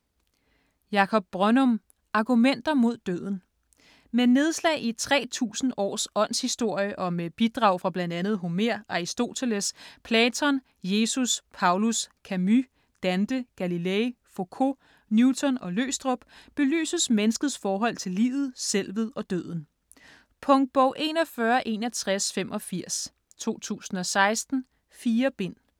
Brønnum, Jakob: Argumenter mod døden Med nedslag i 3000 års åndshistorie, og med bidrag fra bl.a. Homer, Aristoteles, Platon, Jesus, Paulus, Camus, Dante, Galilei, Focault, Newton og Løgstrup, belyses menneskets forhold til livet, selvet og døden. Punktbog 416185 2016. 4 bind.